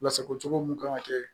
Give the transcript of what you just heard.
Lasago cogo mun kan ka kɛ